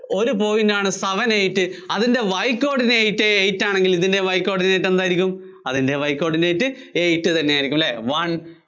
ഒരു point ആണ് seven eight അതിന്‍റെ Y coordinate eight ആണെങ്കില്‍ ഇതിന്‍റെ Y coordinate എന്തായിരിക്കും? അതിന്‍റെ Y coordinate eight തന്നെയായിരിക്കും അല്ലേ one